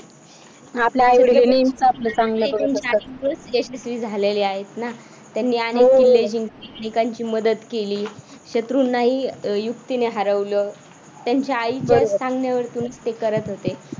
यशस्वी झालेले आहेत ना त्यांनी अनेक किल्ले जिंकली, अनेकांची मदत केली, शत्रूंनाही युक्तीने हरवलं त्यांच्या आईच्या सांगण्यावरून ते करत होते.